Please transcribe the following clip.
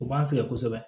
U b'an sɛgɛn kosɛbɛ